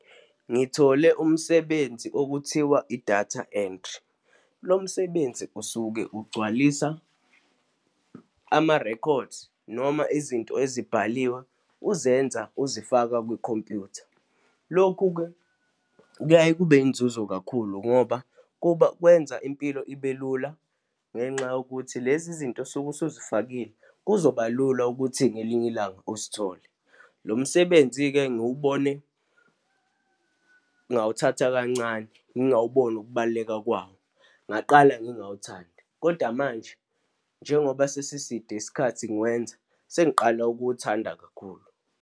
Ngithole umsebenzi okuthiwa i-data entry. Lo msebenzi usuke ugcwalisa ama-records noma izinto ezibhaliwe uzenza uzifaka kwikhompyutha. Lokhu-ke kuyaye kube inzuzo kakhulu ngoba kuba kwenza impilo ibe lula, ngenxa yokuthi lezi zinto osuke usuzifakile, kuzoba lula ukuthi ngelinye ilanga uzithole. Lo msebenzi-ke ngiwubone, ngawuthatha kancane, ngingawuboni ukubaluleka kwawo, ngaqala ngingawuthandi kodwa manje njengoba sesiside isikhathi ngiwenza, sengiqale ukuwuthanda kakhulu.